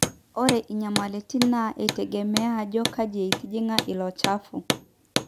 ore inyamalitin naa eitegemea ajo kaji etijing'a ilo chafu